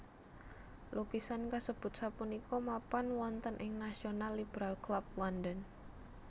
Lukisan kasebut sapunika mapan wonten ing National Liberal Club London